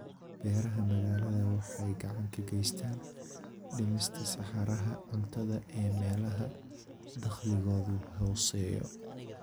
Beeraha magaalada waxay gacan ka geystaan ??dhimista saxaraha cuntada ee meelaha dakhligoodu hooseeyo.